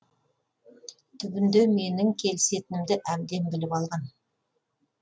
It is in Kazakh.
түбінде менің келісетінімді әбден біліп алған